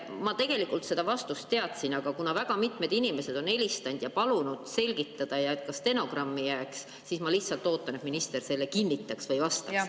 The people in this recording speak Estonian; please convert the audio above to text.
Ma tegelikult seda vastust tean, aga kuna väga mitmed inimesed on helistanud ja palunud seda selgitada ja et see ka stenogrammi jääks, siis ma lihtsalt ootan, et minister seda kinnitaks või vastaks.